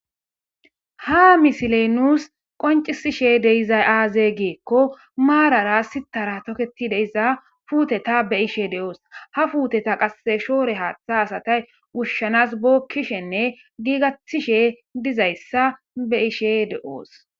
ha misileynus qoncisishe deizay aaze geekko maarara sitara toketi deiza puuteta be ishe de7oos ha fuuteta qasse shoore haaththa asatay wushshanas bookkishenne giigatishe dizayssa be ishe de7oos